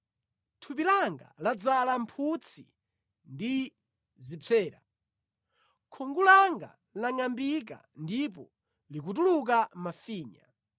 Thupi langa ladzala mphutsi ndi zipsera, khungu langa langʼambika ndipo likutuluka mafinya.